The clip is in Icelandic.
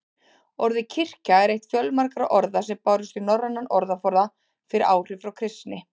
Orðið kirkja er eitt fjölmargra orða sem bárust í norrænan orðaforða fyrir áhrif frá kristni.